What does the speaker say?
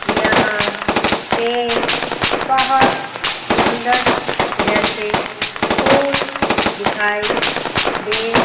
यहां पे बहुत सुंदर जैसे फूल दिखाई दे--